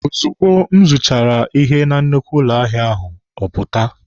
Ozugbo m zụchara ahịa na nnukwu ụlọ ahịa ahụ, ọ pụta.